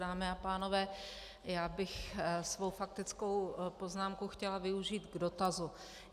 Dámy a pánové, já bych svou faktickou poznámku chtěla využít k dotazu.